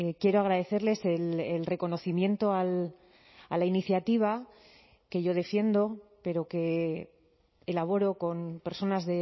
quiero agradecerles el reconocimiento a la iniciativa que yo defiendo pero que elaboro con personas